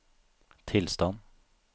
tilstand